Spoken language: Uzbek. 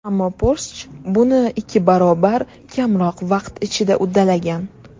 Ammo Porsche buni ikki barobar kamroq vaqt ichida uddalagan.